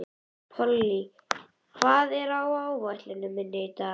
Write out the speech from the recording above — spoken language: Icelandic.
Polly, hvað er á áætluninni minni í dag?